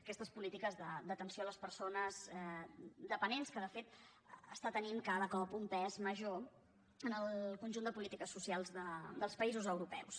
aquestes polítiques d’atenció a les persones dependents que de fet tenen cada cop un pes major en el conjunt de polítiques socials dels països europeus